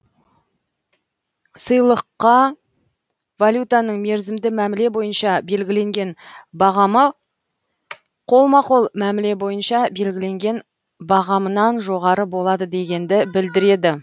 сыйлыққа валютаның мерзімді мәміле бойынша белгіленген бағамы қолма қол мәміле бойынша белгіленген бағамынан жоғары болады дегенді білдіреді